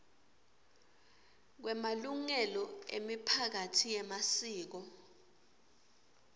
kwemalungelo emiphakatsi yemasiko